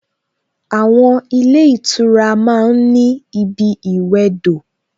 Àwon ilé ìtura ma ń ní ibi ìwẹdò